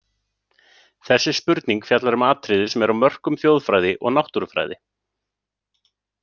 Þessi spurning fjallar um atriði sem er á mörkum þjóðfræði og náttúrufræði.